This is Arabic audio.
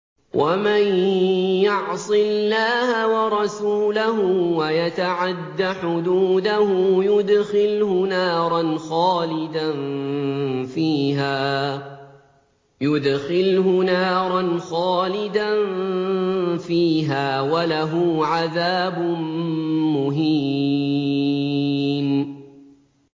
وَمَن يَعْصِ اللَّهَ وَرَسُولَهُ وَيَتَعَدَّ حُدُودَهُ يُدْخِلْهُ نَارًا خَالِدًا فِيهَا وَلَهُ عَذَابٌ مُّهِينٌ